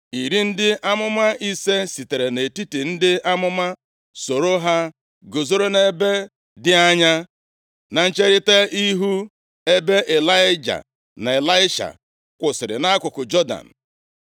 Iri ndị amụma ise sitere nʼetiti ndị amụma sooro ha guzoro nʼebe dị anya na ncherita ihu ebe Ịlaịja na Ịlaisha kwụsịrị nʼakụkụ Jọdan.